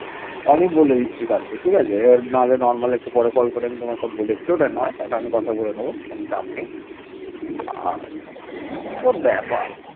পরে তাকে অনুসরণ করে পশ্চিম ভারতের রাজারা বিরাট ও দক্ষিণ ভারতের রাজারা সম্রাট উপাধি গ্রহণ করে